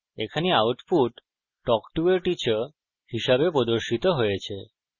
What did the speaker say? এখানে output talk to a teacher হিসাবে প্রদর্শিত হয়েছে